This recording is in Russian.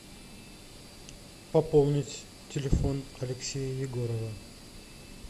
пополнить телефон алексея егорова